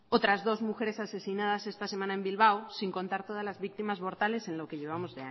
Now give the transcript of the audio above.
otras dos mujeres asesinadas esta semana en bilbao sin contar todas las víctimas mortales en lo que llevamos